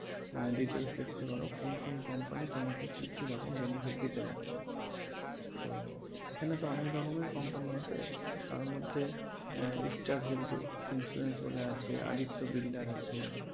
আহ details দেখতে পারো কোন কোন company তোমাকে কী কী রকম benefit দিতে পারছে। তো সেখানে তো অনেক রকমের company আছে তো তার মধ্যে star health insurance বলে আছে আদিত্য builder আছে,